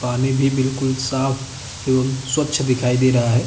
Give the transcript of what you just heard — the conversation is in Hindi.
पानी भी बिलकुल साफ एवं स्वच्छ दिखाई दे रहा हे।